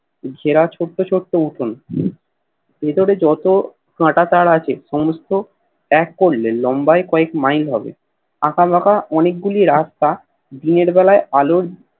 ঘেরা ছোট্ট ছোট্ট উঠোন ভেতরে যত কাটা তার আছে সমস্ত এক করলে লম্বায় কয়েক Mile হবে আকা বাকা অনেকগুলি রাস্তা দিনের বেলা আলোর